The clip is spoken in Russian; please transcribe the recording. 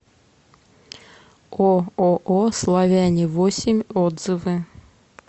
ооо славяне восемь отзывы